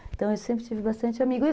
Então, eu sempre tive bastante amigo.